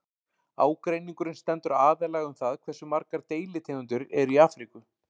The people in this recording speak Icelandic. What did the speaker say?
Ágreiningurinn stendur aðallega um það hversu margar deilitegundir eru í Afríku.